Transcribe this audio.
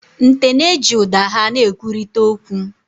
Nte na-eji ụda ha na-ekwurịta okwu.